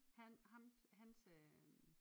Han ham hans øh